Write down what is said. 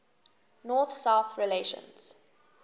north south relations